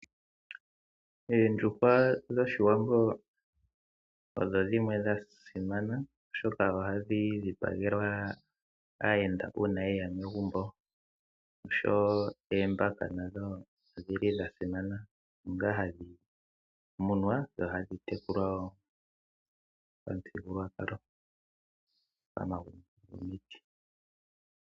Ondjuhwa dhoshiwambo odho dhimwe dhasimana oshoka ohadhi dhipagelwa ayenda uuna yeya pegumbo. Oshowo oombaka odhili wo dhasimana onga hadhi munwa dho ohadhi tekulwa wo pamuthigululwakalo pama gumbo gomiiti.